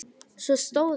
Svo stóð ég upp.